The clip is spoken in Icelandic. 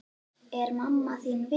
Er mamma þín við?